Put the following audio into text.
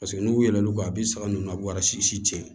Paseke n'u yɛlɛn u ka a bɛ saga ninnu u b'u ka si cɛn